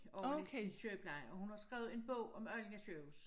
Oveni sin sygepleje og hun har skrevet en bog om Allinge sygehus